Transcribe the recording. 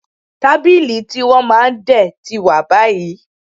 Tábìlì tí wọ́n máa ń dè tí wà báyìí